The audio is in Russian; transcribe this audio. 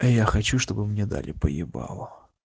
я хочу чтобы мне дали по ебау